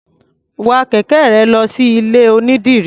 Wa kẹ̀kẹ́ rẹ lọ sí ilé-onídìrí.